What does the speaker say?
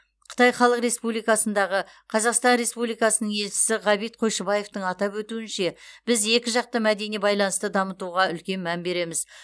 қытай халық республикасындағы қазақстан республикасы елшісі ғабит қойшыбаевтың атап өтуінше біз екіжақты мәдени байланысты дамытуға үлкен мән береміз